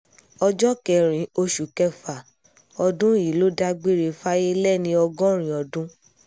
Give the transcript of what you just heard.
ọjọ́ kẹrin oṣù kẹfà ọdún yìí ló dágbére fáyé lẹ́ni ọgọ́rin ọdún